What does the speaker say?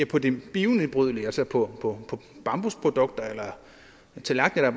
på det bionedbrydelige altså på bambusprodukter eller tallerkener